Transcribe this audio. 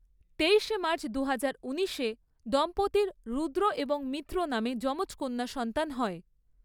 তেইশে মাৰ্চ দুহাজার উনিশে দম্পতির রুদ্র এবং মিত্র নামে যমজ কন্যা সন্তান হয়।